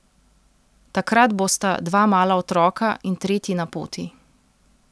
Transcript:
Takrat bosta dva mala otroka in tretji na poti.